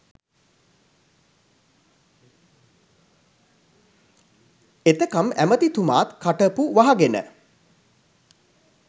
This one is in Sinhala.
එතකම් ඇමති තුමාත් කට පු වහගෙන